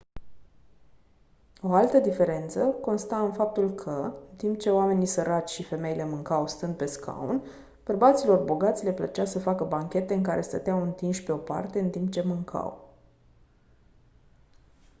o altă diferență consta în faptul că în timp ce oamenii săraci și femeile mâncau stând pe scaun bărbaților bogați le plăcea să facă banchete în care stăteau întinși pe o parte în timp ce mâncau